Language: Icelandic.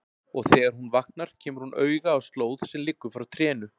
Og þegar hún vaknar kemur hún auga á slóð sem liggur frá trénu.